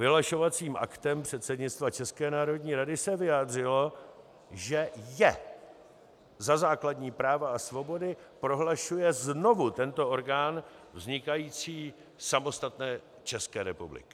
Vyhlašovacím aktem předsednictva České národní rady se vyjádřilo, že je za základní práva a svobody prohlašuje znovu tento orgán vznikající samostatné České republiky.